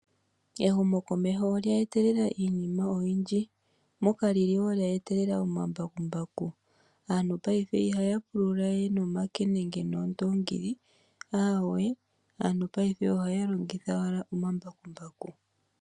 Ehumokomeho olye etelela iinima oyindji moka lya etelela omambakumbaku ,aantu paife ihaya pulula we nomake nenge noondongili aantu paife ohaya longitha owala omambakumbaku.